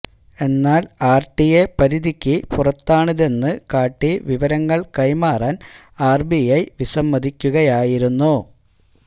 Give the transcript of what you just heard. എന്നാൽ ആർടിഐ പരിധിക്ക് പുറത്താണിതെന്ന് കാട്ടി വിവരങ്ങൾ കൈമാറാൻ ആർബിഐ വിസമ്മതിക്കുകയായിരുന്നു